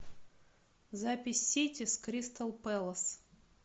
запись сити с кристал пэлас